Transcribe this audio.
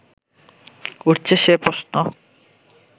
উঠছে সে প্রশ্ন